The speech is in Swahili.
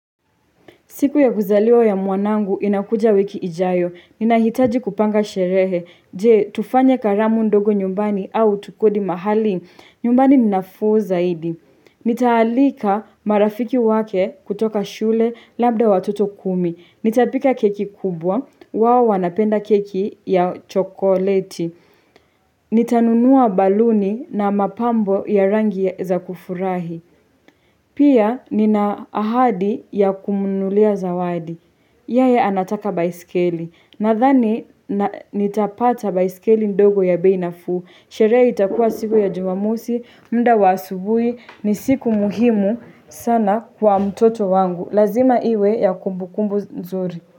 Siku ya kuzaliwa ya mwanangu inakuja wiki ijayo. Ninahitaji kupanga sherehe. Je, tufanya karamu ndogo nyumbani au tukodi mahali? Nyumbani ninafuu zaidi. Nitaalika marafiki wake kutoka shule labda watoto kumi. Nitapika keki kubwa. Wao wanapenda keki ya chokoleti. Nitanunua baluni na mapambo ya rangi za kufurahi. Pia nina ahadi ya kumunulia zawadi. Yae anataka baisikeli, nadhani nitapata baisikeli ndogo ya bei nafuu, sherehe itakuwa siku ya jomamusi, muda wa asubuhi, ni siku muhimu sana kwa mtoto wangu, lazima iwe ya kumbukumbu nzuri.